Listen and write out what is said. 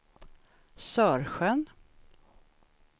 Sörsjön